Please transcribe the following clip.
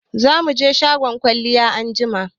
Za mu je shagon kwalliya anjima.